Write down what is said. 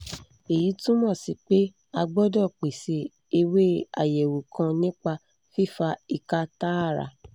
èyí túmọ̀ sí pé a gbọdọ̀ pèsè ewé àyẹ̀wò kan nípa fífa ìka tààrà